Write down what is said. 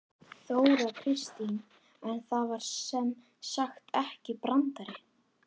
Þóra Kristín: En það var sem sagt ekki brandari?